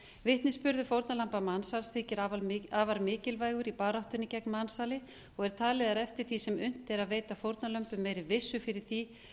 vitnisburður fórnarlamba mansals þykir afar mikilvægur í baráttunni gegn mansali og er talið að eftir því sem unnt er að veita fórnarlömbum meiri vissu fyrir því